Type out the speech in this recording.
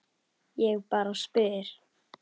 Ég bara spyr.